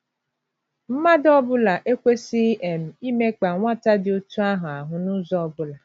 Mmadụ ọ bụla ekwesịghị um ‘ imekpa ’ nwata dị otú ahụ ahụ́ n’ụzọ ọ bụla.